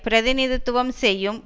பிரதிநிதித்துவம் செய்யும்